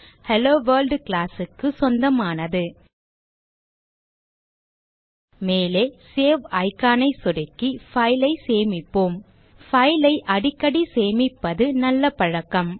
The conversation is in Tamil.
ஹெல்லோவொர்ல்ட் class க்கு சொந்தமானது மேலே சேவ் icon ஐ சொடுக்கி file ஐ சேமிப்போம் file ஐ அடிக்கடி சேமிப்பது நல்ல பழக்கம்